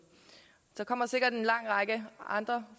der kommer sikkert en lang række andre